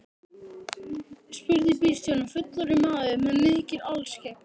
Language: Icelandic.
spurði bílstjórinn, fullorðinn maður með mikið alskegg.